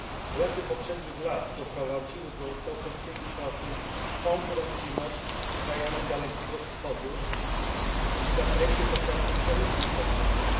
Błędy poprzednich lat doprowadziły do całkowitej utraty konkurencyjności z krajami Dalekiego Wschodu w zakresie chociażby przemysłu stoczniowego.